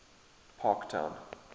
parktown